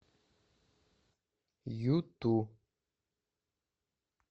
юту